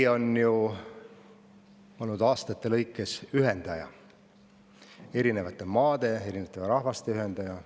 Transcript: Meri on ju aastate jooksul olnud ühendaja – erinevate maade, erinevate rahvaste ühendaja.